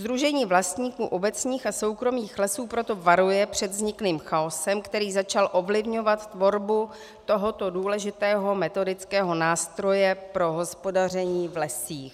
Sdružení vlastníků obecních a soukromých lesů proto varuje před vzniklým chaosem, který začal ovlivňovat tvorbu tohoto důležitého metodického nástroje pro hospodaření v lesích.